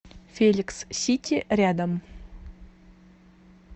феликс сити рядом